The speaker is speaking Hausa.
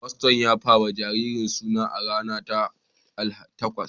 Faston ya ba wa jaririn suna a rana ta takwas